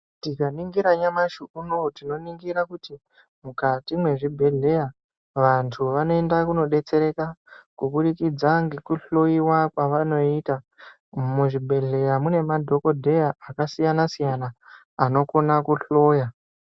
Tikaningira nyamashi unowu tinoningira kuti mukati mwezvibhedhleya vantu vanoenda kunodetsereka kubudikidza ngekuhloyiwa kwavanoita muzvibhedhleya mune madhokodheya akasiyana siyana anokona kuhloya.